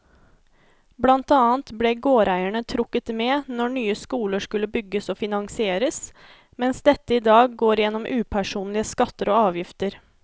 Blant annet ble gårdeierne trukket med når nye skoler skulle bygges og finansieres, mens dette i dag går gjennom upersonlige skatter og avgifter.